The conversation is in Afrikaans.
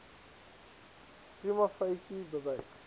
prima facie bewys